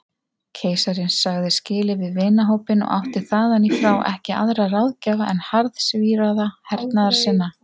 Keisarinn sagði skilið við vinahópinn og átti þaðanífrá ekki aðra ráðgjafa en harðsvíraða hernaðarsinna.